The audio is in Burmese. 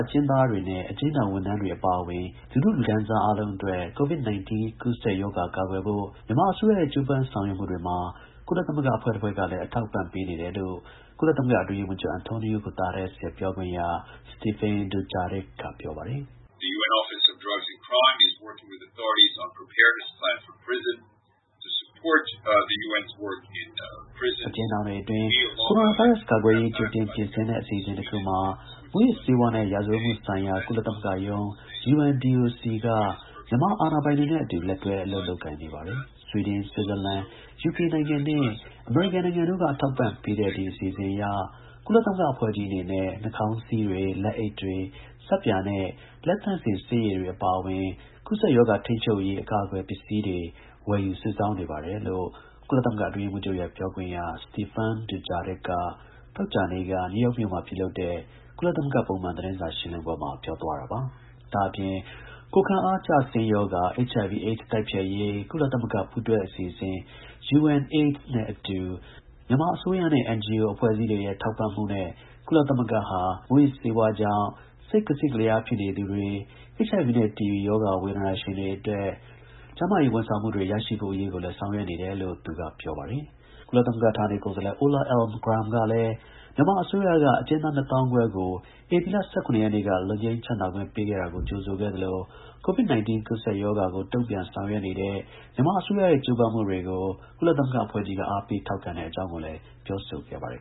အကျဉ်းသားတွေနဲ့ အကျဉ်းထောင် ဝန်ထမ်းတွေ အပါအဝင် လူထုလူတန်းစားအားလုံးအတွက် COVID-19 ကူးစက်ရောဂါ ကာကွယ်ဖို့မြန်မာ အစိုးရရဲ့ ကြိုးပမ်းဆောင်ရွက်မှုတွေမှာ ကုလသမဂ္ဂအဖွဲ့ တစ်ဖွဲ့ကလည်း အထောက်အပံ့ ပေးနေတယ်လို့ ကုလသမဂ္ဂ အတွင်းရေးမှူးချုပ် Antonio Guterres ရဲ့ ပြောခွင့်ရ Stephane Dujarric က ပြောပါတယ်။ “အကျဉ်းထောင်တွေအတွင်း ကိုရိုနာဗိုင်းရပ်စ် ကာကွယ်ရေး ကြိုတင်ပြင်ဆင်တဲ့ အစီအစဉ်တစ်ခုမှာ မူးယစ်ဆေးဝါး နဲ့ ရာဇဝတ်မှုဆိုင်ရာ ကုလသမဂ္ဂရုံးက မြန်မာ အာဏာပိုင်တွေနဲ့ အတူ လက်တွဲ အလုပ် ကိုင်နေပါတယ်။ ဆွီဒင်၊ ဆွစ်ဇာလန်၊ ယူကေနိုင်ငံနဲ့ အမေရိကန် နိုင်ငံတို့ အထောက်အပံ့ပေးတဲ့ ဒီ အစီအစဉ်အရ ကုလသမဂ္ဂအဖွဲ့ကြီးအနေနဲ့ နှာခေါင်းစည်းတွေ၊ လက်အိတ်တွေ၊ ဆပ်ပြာနဲ့ လက်သန့်စင်ဆေးရည်တွေ အပါအဝင် ကူးစက်ရောဂါ ထိန်းချုပ်ရေး အကာအကွယ် ပစ္စည်းတွေ ဝယ်ယူ စုဆောင်းနေပါတယ် " လို့ကုလသမဂ္ဂ အတွင်းရေးမှူးချုပ် ရဲ့ ပြောခွင့်ရ Stephane Dujarric က သောကြာနေ့က နယူးယောက်မြို့မှာ ပြုလုပ်တဲ့ ကုလသမဂ္ဂ ပုံမှန် သတင်းစာရှင်းလင်းပွဲမှာ ပြောသွားတာပါ။ ဒါ့အပြင် ကိုယ်ခံအားကျဆင်းရောဂါ HIV/AIDS တိုက်ဖျက်ရေး ကုလသမဂ္ဂ ပူးတွဲအစီအစဉ် UNAIDS နဲ့အတူ မြန်မာအစိုးရနဲ့ NGO အဖွဲ့အစည်းတွေရဲ့ ထောက်ပံ့မှုနဲ့ ကုလသမဂ္ဂဟာ မြန်မာနိုင်ငံအတွင်း မူးယစ်ဆေးဝါးကြောင့် စိတ်ကစင့်ကလျားဖြစ်နေသူတွေ၊ HIV နဲ့ TB ရောဂါ ဝေဒနာရှင်တွေအတွက် ကျန်းမာရေး ဝန်ဆောင်မှုတွေ ရရှိဖို့အရေးကိုလည်း ဆောင်ရွက် နေတယ်လို့လည်း သူက ပြောပါတယ်။ ကုလသမဂ္ဂ ဌာနေ ကိုယ်စားလှယ် Ola Almgren ကလည်း မြန်မာအစိုးရက အကျဉ်းသား ၂ သောင်းခွဲကို ဧပြီလ ၁၇ ရက်နေ့က လွတ်ငြိမ်းချမ်းသားခွင့်ပေးခဲ့တာကြိုဆိုခဲ့သလို COVID- 19 ကူးးစက်ရောဂါကို တုံ့ပြန်ဆောင်ရွက်နေတဲ့ မြန်မာအစိုးရရဲ့ ကြိုးပမ်းမှု တွေကို ကုလသမဂ္ဂအဖွဲ့ကြီးက အားပေး ထောက်ခံတဲ့အကြောင်းကိုလည်း ပြောဆိုခဲ့ပါတယ်